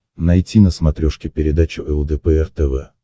найти на смотрешке передачу лдпр тв